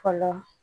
Fa la